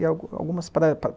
e alguma, algumas praias